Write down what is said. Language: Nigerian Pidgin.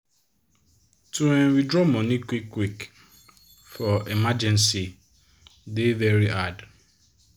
to um withdraw money quick quick for emergency dey very hard.